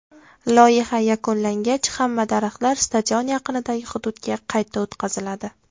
Loyiha yakunlangach, hamma daraxtlar stadion yaqinidagi hududga qayta o‘tqaziladi.